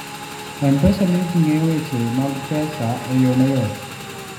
M-Pesa miyo ji ng'eyo weche mag pesa e yo mayot.